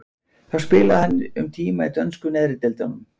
Þá spilaði hann um tíma í dönsku neðri deildunum.